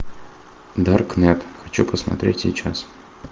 даркнет хочу посмотреть сейчас